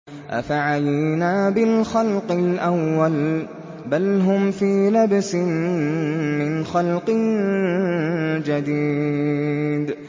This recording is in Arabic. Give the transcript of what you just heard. أَفَعَيِينَا بِالْخَلْقِ الْأَوَّلِ ۚ بَلْ هُمْ فِي لَبْسٍ مِّنْ خَلْقٍ جَدِيدٍ